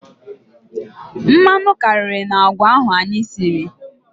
Mmanụ karịrị n'agwa ahụ anyị siri.